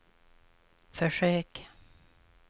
försök